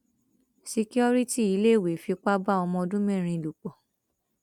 ṣìkìròrìtì iléèwé fipá bá ọmọ ọdún mẹrin lò pọ